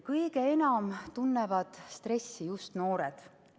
Kõige enam tunnevad stressi just noored.